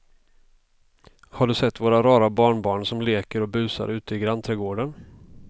Har du sett våra rara barnbarn som leker och busar ute i grannträdgården!